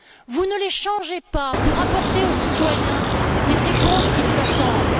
Vous ne les changez pas pour apporter aux citoyens les réponses qu'ils attendent.